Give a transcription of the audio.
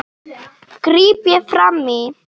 gríp ég fram í.